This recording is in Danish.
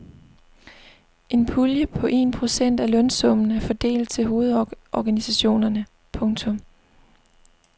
En pulje på en procent af lønsummen er fordelt til hovedorganisationerne. punktum